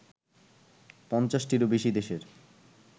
৫০টিরও বেশি দেশের